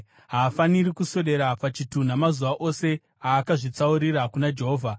Haafaniri kuswedera pachitunha mazuva ose aakazvitsaurira kuna Jehovha.